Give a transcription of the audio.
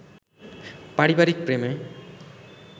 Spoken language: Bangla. পারিবারিক প্রেমে